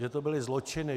Že to byly zločiny.